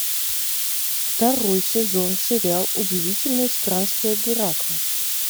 второй сезон сериал удивительные странствия геракла